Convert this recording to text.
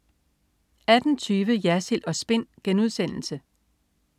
18.20 Jersild & Spin*